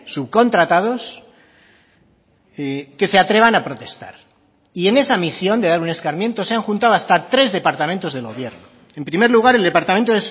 subcontratados que se atrevan a protestar y en esa misión de dar un escarmiento se han juntado hasta tres departamentos del gobierno en primer lugar el departamento